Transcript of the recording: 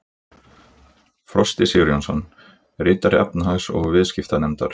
Frosti Sigurjónsson: Ritari efnahags- og viðskiptanefndar?